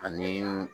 Ani